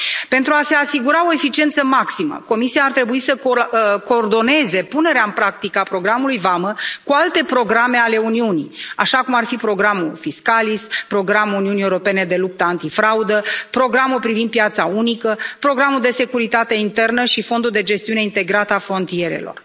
Pentru a se asigura o eficiență maximă, Comisia ar trebui să coordoneze punerea în practică a programului Vamă cu alte programe ale Uniunii, așa cum ar fi programul Fiscalis, programul Uniunii Europene de luptă antifraudă, programul privind piața unică, programul de securitate internă și fondul de gestiune integrată a frontierelor.